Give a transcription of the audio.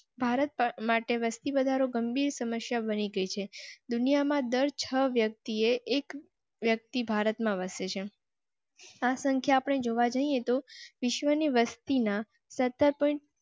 ભારત માટે વસતી વધારો ગંભીર સમસ્યા બની ગઇ છે. દુનિયા માં દર છ વ્યક્તિએ એક વ્યક્તિ ભારત માં વસે છે. સંખ્યા અપ ને જોવા જઇએ તો વિશ્વની વસ્તી ના.